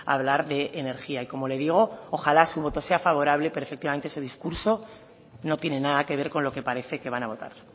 hablar de energía y como le digo ojala su voto sea favorable pero efectivamente su discurso no tiene nada que ver con lo que parece que van a votar